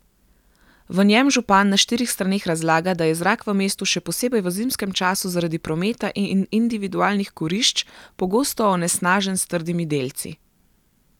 V njem župan na štirih straneh razlaga, da je zrak v mestu še posebej v zimskem času zaradi prometa in individualnih kurišč pogosto onesnažen s trdimi delci.